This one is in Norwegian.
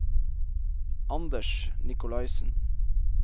Anders Nikolaisen